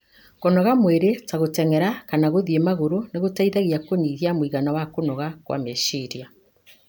Kũnogora mwĩrĩ ta gũteng'era kana gũthiĩ magũrũ nĩ gũteithagia kũnyihia mũigana wa kũnoga kwa meciria.